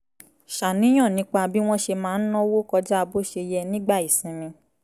ṣàníyàn nípa bí wọ́n ṣe máa ń náwó kọjá bó ṣe yẹ nígbà ìsinmi